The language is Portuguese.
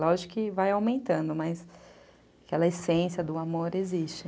Lógico que vai aumentando, né, mas aquela essência do amor existe.